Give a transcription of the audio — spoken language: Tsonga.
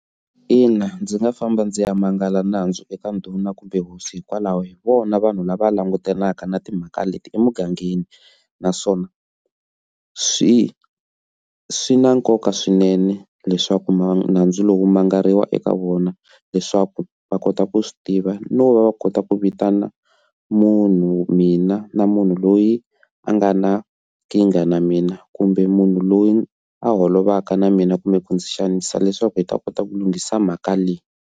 Ina, ndzi nga famba ndzi ya mangala nandzu eka ndhuna kumbe hosi hikokwalaho hi vona vanhu lava langutanaka na timhaka leti emugangeni naswona swi swi na nkoka swinene leswaku nhundzu lowu mangaleriwa eka vona leswaku va kota ku swi tiva no va va kota ku vitana munhu mina na munhu loyi a nga na nkingha na mina kumbe munhu loyi a holovisaka na mina kumbe ku ndzi xanisa leswaku hi ta kota ku lunghisa mhaka leyi.